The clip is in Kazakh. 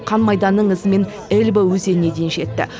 қан майданның ізімен эльба өзеніне дейін жетті